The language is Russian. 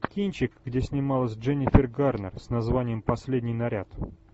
кинчик где снималась дженнифер гарнер с названием последний наряд